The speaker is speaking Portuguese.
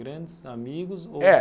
Grandes amigos ou? É